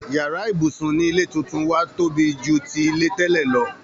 Yàrá ibùsùn ni ilé túntún wa tobi ju ti ilé tẹ́lẹ̀ lọ